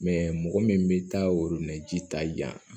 mɔgɔ min bɛ taa ji ta yan